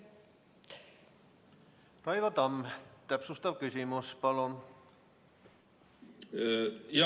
Raivo Tamm, täpsustav küsimus, palun!